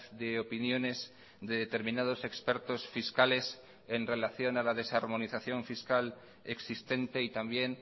de opiniones de determinados expertos fiscales en relación a la desarmonización fiscal existente y también